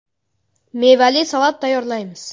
Mevali salat tayyorlaymiz.